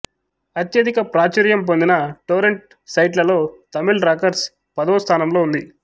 అత్యధిక ప్రాచుర్యం పొందిన టోరెంట్ సైట్లలో తమిళ్ రాకర్స్ పదవ స్థానంలో ఉంది